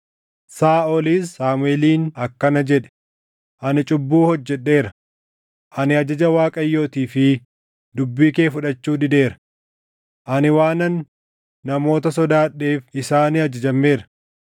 Saaʼolis Saamuʼeeliin akkana jedhe; “Ani cubbuu hojjedheera. Ani ajaja Waaqayyootii fi dubbii kee fudhachuu dideera. Ani waanan namoota sodaadheef isaanii ajajameera.